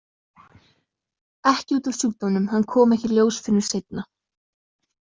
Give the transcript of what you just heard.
Ekki út af sjúkdómnum, hann kom ekki í ljós fyrr en seinna.